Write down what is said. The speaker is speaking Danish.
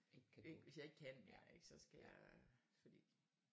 Hvis jeg ikke kan mere ik så skal jeg fordi